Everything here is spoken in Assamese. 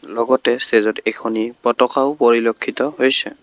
লগতে ষ্টেজত এখনি পতকাও পৰিলক্ষিত হৈছে।